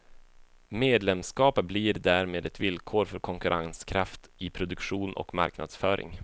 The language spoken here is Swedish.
Medlemskap blir därmed ett villkor för konkurrenskraft i produktion och marknadsföring.